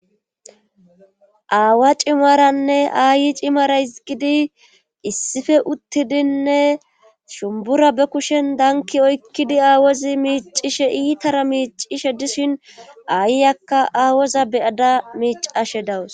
aawa cimaranne aayi cimara hizgidi issife uttidinne shumbura be kushen danki oykkidi aawozi miicishe iitara miicishe dishin aayyakka aawoza beyada miicashe dawus